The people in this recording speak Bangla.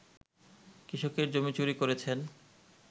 কৃষকের জমি চুরি করেছেন